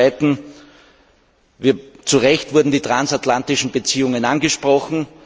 Zum Zweiten Zu Recht wurden die transatlantischen Beziehungen angesprochen.